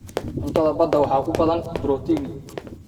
Cuntada badda waxaa ku badan borotiin.